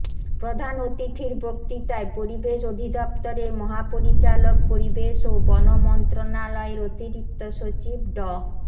প্রধান অতিথির বক্তৃতায় পরিবেশ অধিদপ্তরের মহাপরিচালক পরিবেশ ও বন মন্ত্রণালয়ের অতিরিক্ত সচিব ড